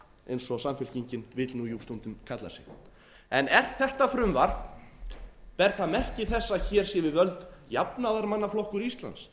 eins og samfylkingin vill jú stundum kalla sig ber þetta frumvarp merki þess að hér sé við völd jafnaðarmannaflokkur íslands